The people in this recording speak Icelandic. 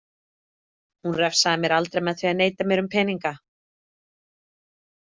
Hún refsaði mér aldrei með því að neita mér um peninga.